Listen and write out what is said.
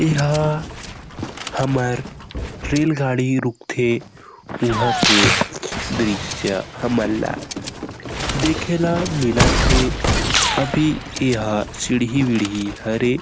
ए हा हमर रेल गाड़ी रूकथे वहाँ के दृश्य हमला देखे ला मिलथे अभी ए हा सिड़ही-विड़ही हरे।